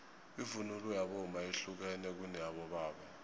ivunulo yabomma yehlukene kuneyabobaba